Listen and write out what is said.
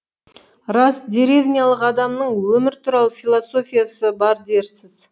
рас деревнялық адамның өмір туралы философиясы бар дерсіз